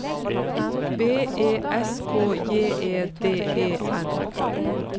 B E S K J E D E N